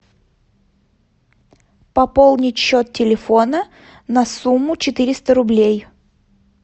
пополнить счет телефона на сумму четыреста рублей